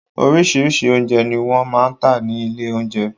Oríṣirí́ṣi oúnjẹ ni wọ́n máa ń tà ní ilé oúnjẹ